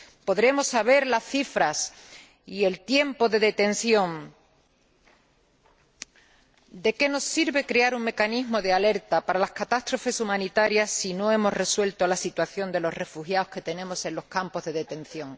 Podremos conocer las cifras y el tiempo de detención, pero ¿de qué nos sirve crear un mecanismo de alerta para las catástrofes humanitarias si no hemos resuelto la situación de los refugiados que tenemos en los campos de detención?